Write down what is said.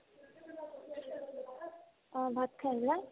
অ, ভাত খাই আহিলা